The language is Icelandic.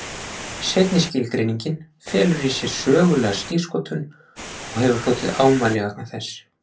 Seinni skilgreiningin felur í sér sögulega skírskotun og hefur hlotið ámæli vegna þess.